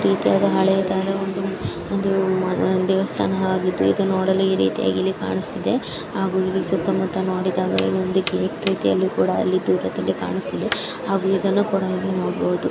ಈಥರದಾದ ಹಳೆ ಕಾಲಾದ ಒಂದು ಒಂದು ದೇವಸ್ಥಾನ ಆಗಿದ್ದು. ಇದನ ನೋಡಲು ಈ ರೀತಿಯಾಗಿ ಇಲ್ಲಿ ಕಾಂಸ್ತಾದೆ. ಹಾಗು ಇಲ್ಲಿ ಸುತ್ತ ಮುತ್ತ ನೋಡಿದಾಗ ಅಲ್ಲಿ ದೂರದಲ್ಲಿ ಕಾಣಸ್ತಿದೆ. ಹಾಗು ಇದನ್ನ ಕೂಡ ಇಲ್ಲಿ ನೋಡಬಹುದು.